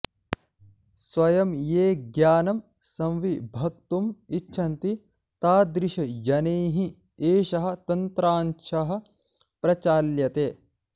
स्वयं ये ज्ञानं संविभक्तुम् इच्छन्ति तादृशजनैः एषः तन्त्रांशः प्रचाल्यते